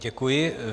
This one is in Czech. Děkuji.